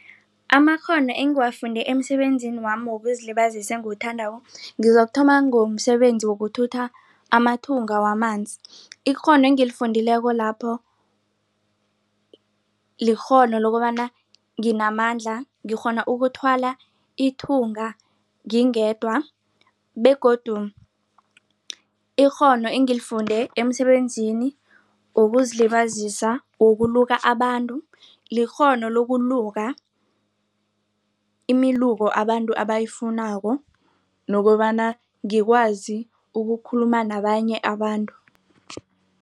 Amakghono engiwangafunde emisebenzini wami wokuzilibazisa engiwuthandako ngizokuthoma ngomsebenzi yowokuthutha amathunga wamanzi. Ikghono engilifundileko lapho likghono lokobana nginamandla ngikghona ukuthwala ithunga ngingedwa begodu ikghono engilifunde emsebenzini wokuzilibazisa wokuluka abantu likghono lokuluka imiluko abantu abayifunako nokobana ngikwazi ukukhuluma nabanye abantu.